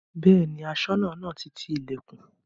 Bẹ́ẹ̀ni Aṣọ́nà náà ti ti ilẹ̀kùn